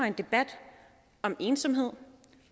en debat om ensomhed